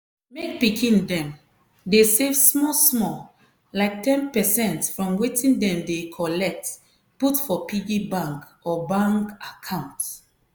make pikin dem dey save small-small like ten percent from wetin dem dey collect put for piggy bank or bank account.